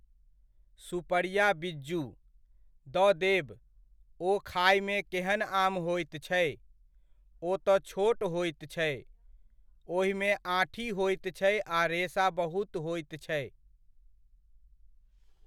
सुपड़िया बिज़्जू? द देब, ओ खायमे केहन आम होइत छै? ओ तऽ छोट होइत छै, ओहिमे आँठी होइत छै आ रेशा बहुत होइत छै।